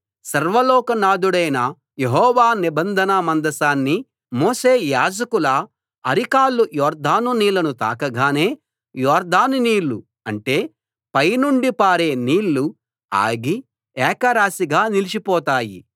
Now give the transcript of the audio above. సర్వలోకనాధుడైన యెహోవా నిబంధన మందసాన్ని మోసే యాజకుల అరికాళ్లు యొర్దాను నీళ్లను తాకగానే యొర్దాను నీళ్లు అంటే పై నుండి పారే నీళ్లు ఆగి ఏకరాశిగా నిలిచిపోతాయి